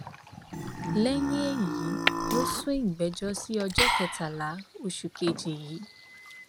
lẹyìn èyí ló sún ìgbẹjọ sí ọjọ kẹtàlélógún oṣù kejì yìí